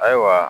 Ayiwa